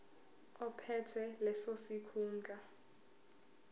ophethe leso sikhundla